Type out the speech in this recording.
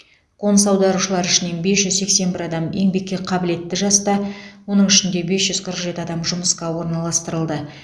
қоныс аударушылар ішінен бес жүз сексен бір адам еңбекке қабілетті жаста оның ішінде бес жүз қырық жеті адам жұмысқа орналастырылды